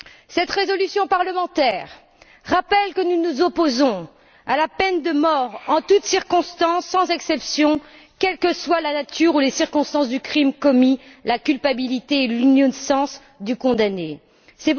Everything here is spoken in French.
Cette résolution parlementaire rappelle que nous nous opposons à la peine de mort en toute circonstance, sans exception, quelles que soient la nature ou les circonstances du crime commis, que le condamné soit coupable ou innocent.